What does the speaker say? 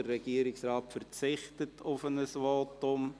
Der Regierungsrat verzichtet auf ein Votum.